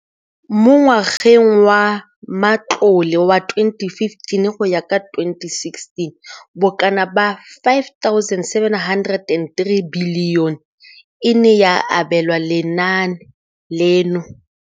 Mo ngwageng wa matlole wa 2015,16, bokanaka R5 703 bilione e ne ya abelwa lenaane leno.